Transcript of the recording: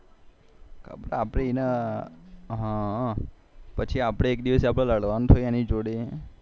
આપડે એને પછી આપડે એક દિવસ લડવાનું થયું એની જોડે